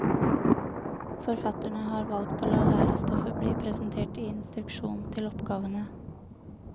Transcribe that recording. Forfatterne har valgt å la lærestoffet bli presentert i instruksjonen til oppgavene.